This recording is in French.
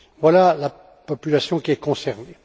Voilà la population qui est concernée.